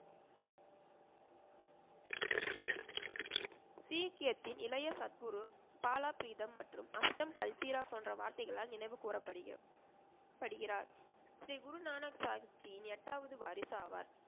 சீக்கியத்தின் இளைய சத்குரு, பாலா ப்ரிதம் மற்றும் அஷ்டம் பல்தீரா போன்ற வார்த்தைகளால் நினைவுகூறப் படுகிறார். ஸ்ரீ குரு நானக் சாஹிப்ஜியின் எட்டாவது வாரிசு ஆவார்.